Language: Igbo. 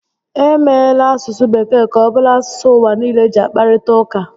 E meela asụsụ Bekee ka ọ bụrụ asụsụ ụwà nille ji akparịta ụka